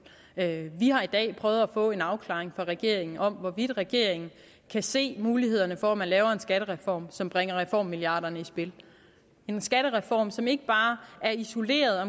vi har i dag prøvet at få en afklaring fra regeringen af hvorvidt regeringen kan se mulighederne for at lave en skattereform som bringer reformmilliarderne i spil en skattereform som ikke bare er isoleret